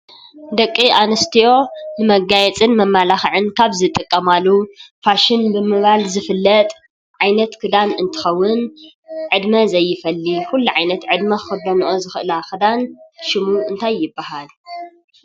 ደቂ ኣንስትዮ ንመጋየፅን መመላኽዕን ካብ ዝጥቀማሉ ፋሽን ብምባል ዝፍለጥ ዓይነት ክዳን እንትኸውን ዕድመ ዘይፈሊ ኩሉ ዓይነት ዕድመ ክኽደንኦ ዝኽእላ ክዳን ሽሙ እንታይ ይባሃል?